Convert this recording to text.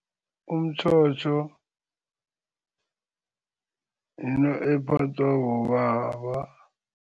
Umtjhotjho yinto ephathwa bobaba.